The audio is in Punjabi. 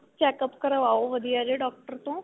checkup ਕਰਵਾਓ ਵਧੀਆ ਜੇ doctor ਤੋਂ